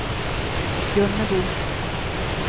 Gunnebo